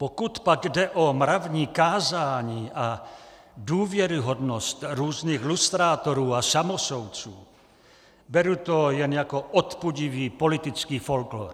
Pokud pak jde o mravní kázání a důvěryhodnost různých lustrátorů a samosoudců, beru to jen jako odpudivý politický folklór.